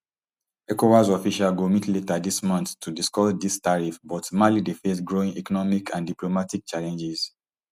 ecowas officials go meet later dis month to discuss dis tariffs but mali dey face growing economic and diplomatic challenges